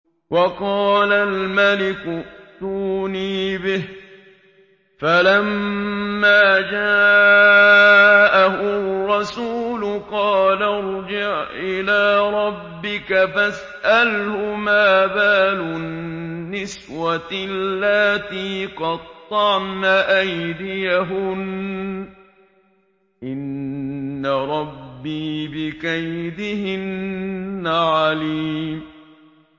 وَقَالَ الْمَلِكُ ائْتُونِي بِهِ ۖ فَلَمَّا جَاءَهُ الرَّسُولُ قَالَ ارْجِعْ إِلَىٰ رَبِّكَ فَاسْأَلْهُ مَا بَالُ النِّسْوَةِ اللَّاتِي قَطَّعْنَ أَيْدِيَهُنَّ ۚ إِنَّ رَبِّي بِكَيْدِهِنَّ عَلِيمٌ